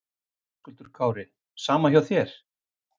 Höskuldur Kári: Sama hjá þér?